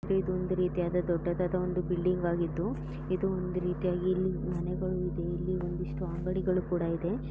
ಇದೊಂದು ರೀತಿಯಾದ ದೊಡ್ಡಾದದ ಒಂದು ಬಿಲ್ಡಿಂಗ್ ಆಗಿದ್ದು ಇದು ಒಂದು ರೀತಿಯಾಗಿ ಇಲ್ಲಿ ಮನೆಗಳು ಇದೆ ಇಲ್ಲಿ ಒಂದಿಷ್ಟು ಮನೆಗಳು ಕೂಡಾ ಇದೆ ಅಂಗಡಿಗಳು ಕೂಡಾ ಇದೆ .